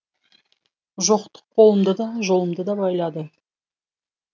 жоқтық қолымды да жолымды да байлады